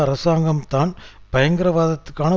அரசாங்கம்தான் பயங்கரவாதத்திக்கான